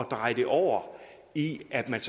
dreje det over i at man